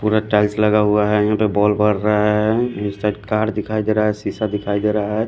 पूरा टाइल्स लगा हुआ हैं यहाँ पे बॉल भर रहा हैं नीचे साइड कार दिखाई दे रहा है शीशा दिखाई दे रहा है।